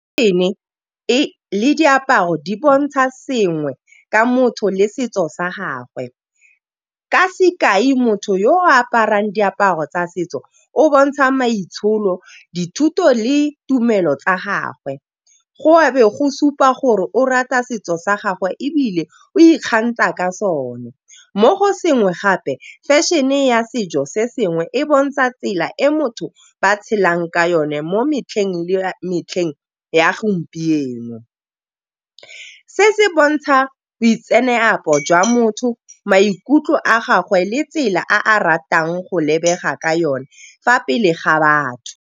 Fešhene le diaparo di bontsha sengwe ka motho le setso sa gagwe. Ka sekai motho yo o aparang diaparo tsa setso o bontsha maitsholo, dithuto le tumelo tsa gagwe. Go a be go supa gore o rata setso sa gagwe ebile o ikgantsha ka sone, mo go sengwe gape fešhene e ya setso se sengwe e bontsha tsela e motho ba tshelang ka yone mo metlheng le metlheng ya gompieno. Se se bontsha boitseanape jwa motho, maikutlo a gagwe le tsela a ratang go lebega ka yone fa pele ga batho.